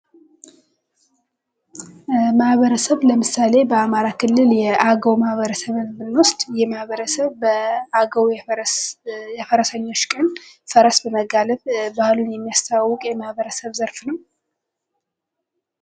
ማህበረሰብ ለምሳሌ በአማራ ክልል የአገው ማህበረሰብን ብንወስድ ይህ ማህበረሰብ በአገው የፈረሰኞች ቀን ፈረስን በመጋለብ ባህሉን የሚያስተዋውቅ የማህበረሰብ ዘርፍ ነው።